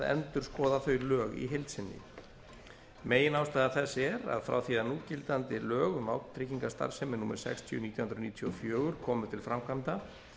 endurskoða þau lög í heild sinni meginástæða þess er að frá því núgildandi lög um vátryggingastarfsemi númer sextíu nítján hundruð níutíu og fjögur komu til framkvæmda